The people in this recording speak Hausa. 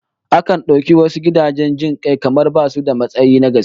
Akan dauki wasu gidajen jin kai kamar basu da tausayi na gaske